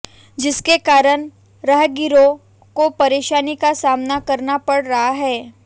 जिसके कारण राहगीरों को परेशानी का सामना करना पड़ रहा है